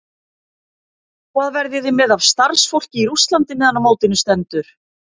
Hvað verðið þið með af starfsfólki í Rússlandi meðan á mótinu stendur?